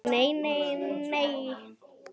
En nei nei.